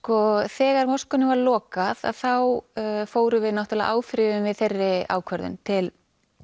þegar moskunni var lokað þá áfrýjuðum við þeirri ákvörðun til